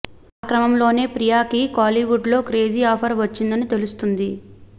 ఆ క్రమంలోనే ప్రియాకి కోలీవుడ్ లో క్రేజీ ఆఫర్ వచ్చిందని తెలుస్తుంది